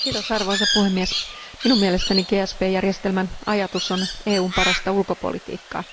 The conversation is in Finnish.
Arvoisa puhemies, minun mielestäni GSP järjestelmän ajatus on EUn parasta ulkopolitiikkaa.